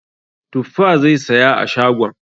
Tuffa zai saya a shagon.